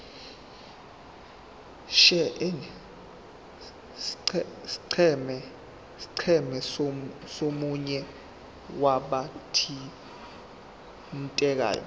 scheme somunye wabathintekayo